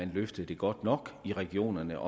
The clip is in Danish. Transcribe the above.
løftede det godt nok i regionerne